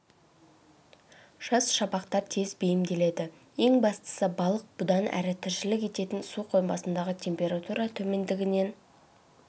жас шабақтар тез бейімделеді ең бастысы балық бұдан әрі тіршілік ететін су қоймасындағы температура төмендігінен